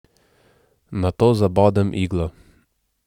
Nato zabodem iglo.